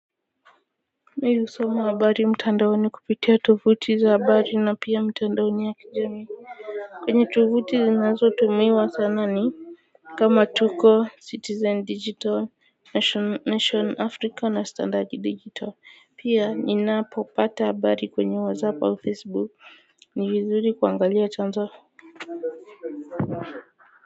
Mimi husoma habari mtandaoni kupitia tuvuti za habari na pia mtandaoni ya kijamii kwenye tuvuti zinazotumiwa sana kama tuko citizen digital nation Afrika na standard digital pia ninapopata habari kwenye wazapa au facebook ni vizuri kuangalia chanzo.